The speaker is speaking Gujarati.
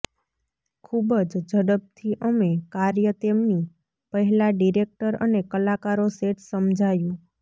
ખૂબ જ ઝડપથી અમે કાર્ય તેમની પહેલા ડિરેક્ટર અને કલાકારો સેટ સમજાયું